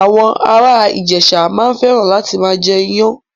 Àwọn ara Ijesa maa n feran lati maa je iyan